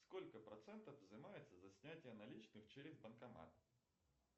сколько процентов взимается за снятие наличных через банкомат